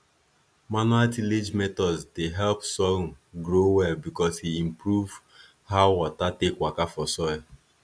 manual tillage methods dey help sorghum grow well because e improve how water take waka for soil